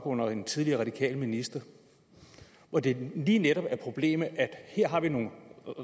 under en tidligere radikal minister hvor det lige netop var problemet at her var nogle